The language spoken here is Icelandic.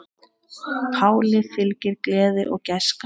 Páli fylgir gleði og gæska.